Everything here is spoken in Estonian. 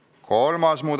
Istungi lõpp kell 10.23.